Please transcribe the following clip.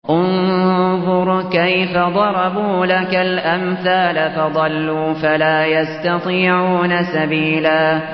انظُرْ كَيْفَ ضَرَبُوا لَكَ الْأَمْثَالَ فَضَلُّوا فَلَا يَسْتَطِيعُونَ سَبِيلًا